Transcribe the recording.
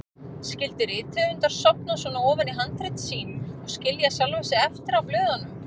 Skyldu rithöfundar sofna svona ofan í handrit sín og skilja sjálfa sig eftir á blöðunum?